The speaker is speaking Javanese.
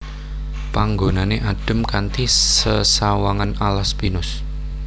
Panggonané adhem kanthi sesawangan alas pinus